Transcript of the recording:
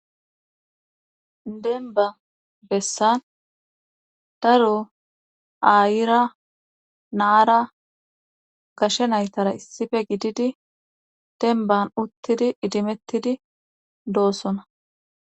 Demba bessan daru ayira naara gashe naytara issife gididi denban uttidi idimettidi doossona.